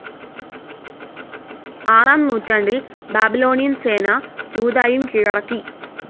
ആറാം നൂറ്റാണ്ടിൽ ബാബിലോണിയൻ സേന ജൂദായും കീഴടക്കി.